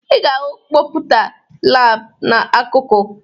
Ị ga-ahụ kọmputa laabụ n'akụkụ